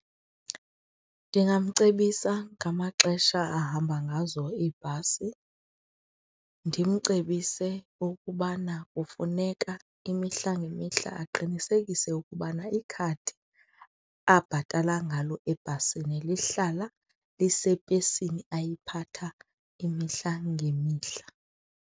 Ndingamcebisa ngamaxesha ahamba ngazo iibhasi, ndimcebise ukubana kufuneka imihla ngemihla aqinisekise ukubana ikhadi abhatala ngalo ebhasini lihlala lisepesini ayiphatha imihla ngemihla.